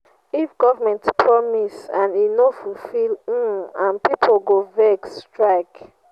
if government promise and e no fulfill um am pipo go vex strike.